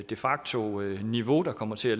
de facto niveau der kommer til at